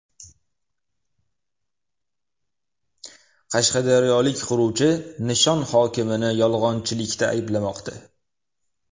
Qashqadaryolik quruvchi Nishon hokimini yolg‘onchilikda ayblamoqda.